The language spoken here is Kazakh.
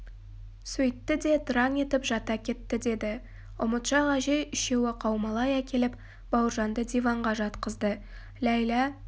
сөйтті де тыраң етіп жата кетті деді ұмытшақ әжей үшеуі қаумалай әкеліп бауыржанды диванға жатқызды ләйлә